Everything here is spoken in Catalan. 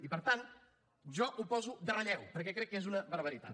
i per tant jo ho poso en relleu perquè crec que és una barbaritat